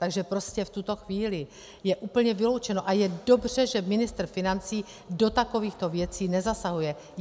Takže prostě v tuto chvíli je úplně vyloučeno - a je dobře, že ministr financí do takovýchto věcí nezasahuje.